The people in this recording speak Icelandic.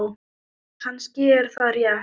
Kannski er það rétt.